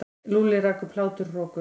Lúlli rak upp hláturroku.